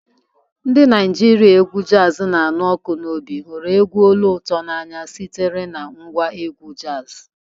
Ndị Naijiria égwù jazii na anụ ọkụ n'obi hụrụ egwu olu ụtọ n'anya sitere na ngwa égwù jazi.